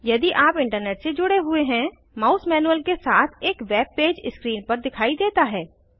यदि आप इंटरनेट से जुड़े हुए है माउस मैनुअल के साथ एक वेब पेज स्क्रीन पर दिखाई देता है